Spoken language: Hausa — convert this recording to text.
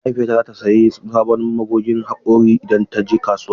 Mahaifiyata za ta sayi sabon magogin haƙora idan ta je kasuwa.